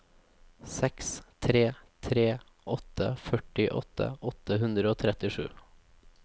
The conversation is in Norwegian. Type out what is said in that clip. seks tre tre åtte førtiåtte åtte hundre og trettisju